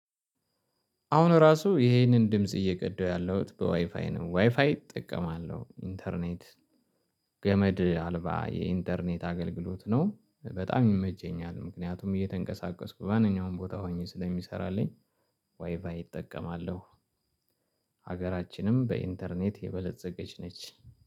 አሁን ራሱ ይሄንን ድምጽ እየቀዳሁ ያለሁት በዋይፋይ ነው። ዋይፋይ እጠቀማለሁ ኢንተርኔት ገመድ አልባ የኢንተርኔት አገልግሎት ነው። በጣም ይመቸኛል ምክንያቱም እየተንቀሳቀስኩ በማንኛውም ቦታ ሆኜ ስለሚሰራልኝ ዋይ ፋይ እጠቀማለሁ። ሀገራችንም በኢንተርኔት የበለፀገች ነች።